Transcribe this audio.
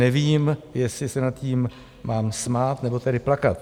Nevím, jestli se nad tím mám smát, nebo tedy plakat.